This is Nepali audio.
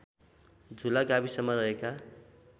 झुला गाविसमा रहेका